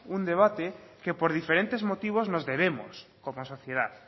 un debate que por diferentes motivos nos debemos como sociedad